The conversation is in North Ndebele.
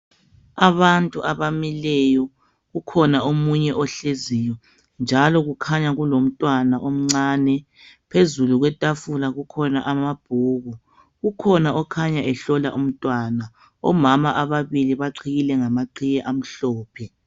Abantu abamileyo ukhona omunye ohleziyo njalo kukhanya kulomntwana omncane phezulu kwetafula kukhona amabhuku, ukhona okhanya ehlola umntwana, omama ababili baqhiyile ngama qhiye amhlophe.